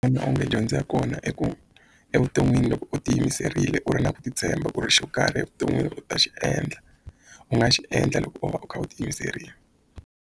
onge dyondzo ya kona i ku evuton'wini loko u tiyimiserile u ri na ku titshemba ku ri xo karhi evuton'wini u ta xi endla u nga xi endla loko u va u kha u tiyimiserile.